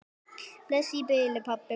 Bless í bili, pabbi minn.